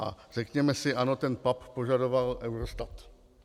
A řekněme si, ano, ten PAP požadoval EUROSTAT.